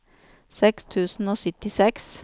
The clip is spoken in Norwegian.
seks tusen og syttiseks